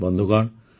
ବନ୍ଧୁଗଣ